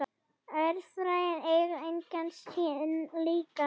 Öræfin eiga engan sinn líka.